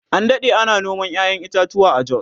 an Dade ana noman ƴaƴan itatuwa a jos